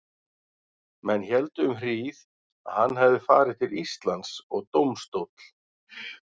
Menn héldu um hríð, að hann hefði farið til Íslands, og dómstóll